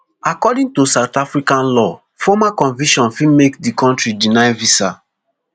according to south african law former conviction fit make di kontri deny visa